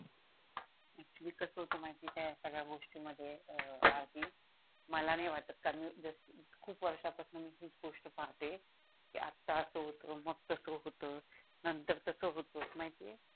actually कस होत माहिती आहे का हया संगड्या गोष्टी मध्ये आरती मला नाही वाटत कारण जस खूप वर्षा पासून मी हीच गोष्ट पाहते की आता अस होतो मग तस होतो नंतर तस होतो